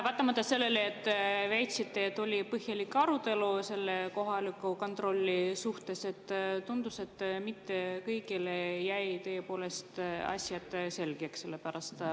Vaatamata sellele, et te olete väitnud, et oli põhjalik arutelu selle kohaliku kontrolli üle, tundus, et mitte kõigile ei saanud tõepoolest asjad selgeks.